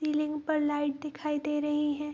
Ceiling पर light दिखाई दे रही हैं।